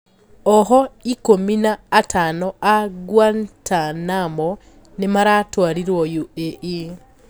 Ohwo ikũmi na atano aa Guantanamo nimaratwarirwo UAE